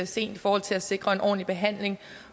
sent i forhold til at sikre en ordentlig behandling